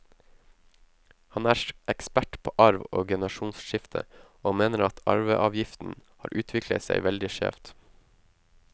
Han er ekspert på arv og generasjonsskifte, og mener at arveavgiften har utviklet seg veldig skjevt.